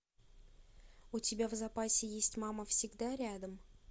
у тебя в запасе есть мама всегда рядом